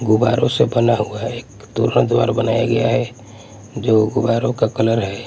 गुब्बारों से बना हुआ एक द्वार बनाया गया है जो गुब्बारों का कलर है।